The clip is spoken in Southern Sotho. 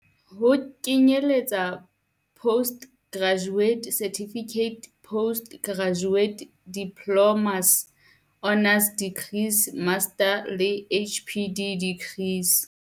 Ho kenyeletsa postgraduate certificates, postgraduate diplo mas, honours degrees, masters le PhD degrees.